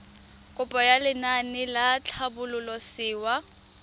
kopo ya lenaane la tlhabololosewa